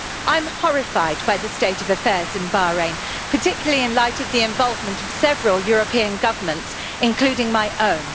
I'm horrified by the state of affairs in Bahrain, particularly in light of the involvement of several European governments, including my own.